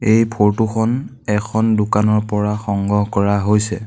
এই ফটো খন এখন দোকানৰ পৰা সংগ্ৰহ কৰা হৈছে।